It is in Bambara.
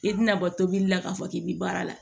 I tɛna bɔ tobili la k'a fɔ k'i bɛ baara la